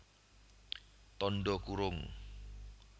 Tandha kurung